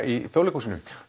í Þjóðleikshúsinu